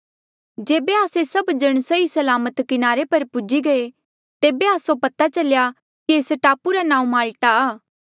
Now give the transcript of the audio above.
जेबे आस्से सभ जण सही सलामत किनारे पर पूजी गये तेबे आस्सो पता चल्या कि एस टापू रा नाऊँ माल्टा आ